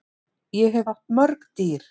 Ég hef átt mörg dýr.